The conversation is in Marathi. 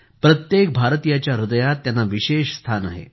प्रत्येक भारतीयाच्या हृदयात त्यांना विशेष स्थान आहे